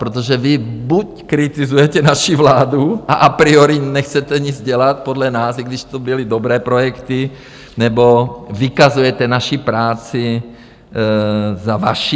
Protože vy buď kritizujete naši vládu a a priori nechcete nic dělat podle nás, i když to byly dobré projekty, nebo vykazujete naši práci za vaši.